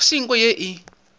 go se nko ye e